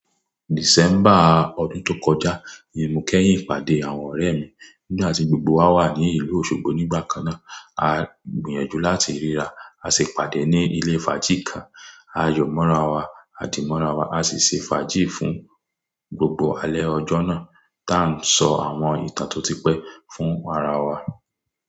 December, ọdún tó kọjá ni mo kẹ́yìn ìpàdé àwọn ọ̀rẹ́ mi. Nígbà tí gbogbo wa wà ní ìlú Osogbo nígbà kan náà, a gbìyànjú láti ríra. A sì pàdé ní ilé fàájì kan. A yọ̀ mọ́ra wa, a dì mọ́ra wa, a sì ṣe fàájì fún gbogbo alẹ́ ọjọ́ náà tá ń sọ àwọn ìtàn tó ti pẹ́ fún ara wa.